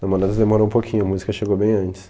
Namoradas demorou um pouquinho, a música chegou bem antes.